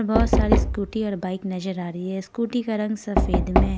बहुत सारी स्कूटी और बाइक नजर आ रही है स्कूटी का रंग सफेद में --